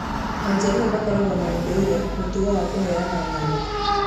Ajaluo makoragwo na ũndũire mũtongo wa kũheana ng'ano.